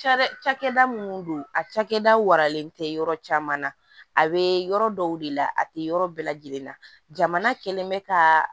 Cakɛda cakɛda minnu don a cakɛda waralen tɛ yɔrɔ caman na a be yɔrɔ dɔw de la a te yɔrɔ bɛɛ lajɛlen na jamana kelen be ka